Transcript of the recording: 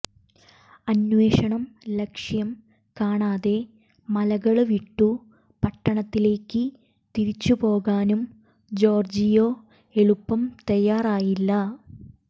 അന്വേഷണം ലക്ഷ്യം കാണാതെ മലകള് വിട്ടു പട്ടണത്തിലേക്ക് തിരിച്ചുപോകാനും ജോര്ജിയോ എളുപ്പം തയാറായില്ല